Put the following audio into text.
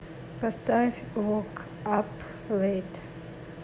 поставь вок ап лэйт